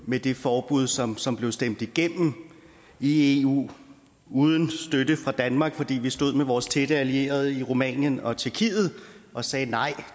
med det forbud som som blev stemt igennem i eu uden støtte fra danmark fordi vi stod med vores tætte allierede i rumænien og tjekkiet og sagde nej